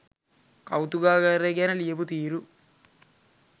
කෞතුකාගාරය ගැන ලියපු තීරු